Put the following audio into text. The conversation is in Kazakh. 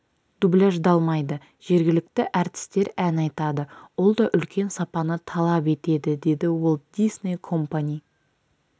дубляждалмайды жергілікті әртістер ән айтады ол да үлкен сапаны талап етеді деді уолт дисней компани